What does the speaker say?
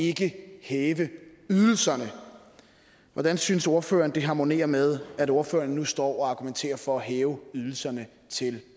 ikke hæve ydelserne hvordan synes ordføreren det harmonerer med at ordføreren nu står og argumenterer for at hæve ydelserne til